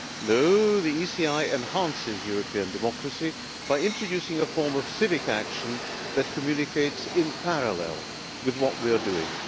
No, the ECI enhances European democracy by introducing a form of civic action that communicates in parallel with what we are doing.